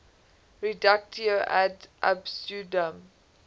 reductio ad absurdum